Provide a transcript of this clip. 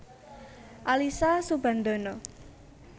Alyssa Soebandono